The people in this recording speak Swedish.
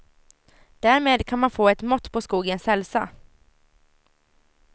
Därmed kan man få ett mått på skogens hälsa.